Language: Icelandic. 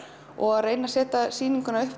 og reyna að setja sýninguna